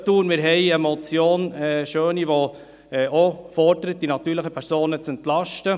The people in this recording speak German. Wir haben eine Motion Schöni, die auch fordert, die natürlichen Personen zu entlasten.